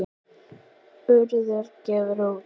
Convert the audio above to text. Urður gefur út.